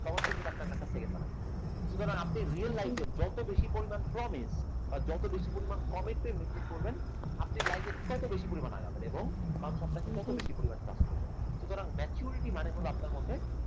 তখন সে কিন্তু আপনার কাছে second বার আসবে না সুতরাং আপনি real life এ যত বেশি পরিমাণ promise বা যত বেশি পরিমাণ commitment maintain করবেন আপনি life এ ততো বেশি পরিমাণ আগাবেন এবং মানুষ আপনাকে তত বেশি পরিমাণ trust করবে সুতরাং maturity মানে হল আপনার মধ্যে